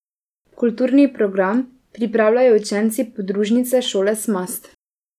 Kulturni program pripravljajo učenci podružnične šole Smast.